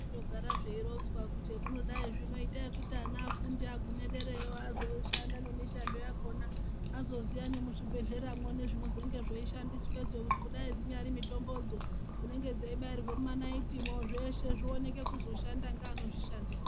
Zvinondo gara zveironzwa kuti zvamunogai zvino itaikuti ana afunde agume dzerayo eizoshanda nemishando yakona azoziva nemuzvibhedhleramwo. Nezvino zvonge zveishandiswazvo ngekudai dzinyari mitombodzo dzinenge dzeibairwe mumanaitimwo zveshe zvoone kakuzoshanda neano zvishandisa.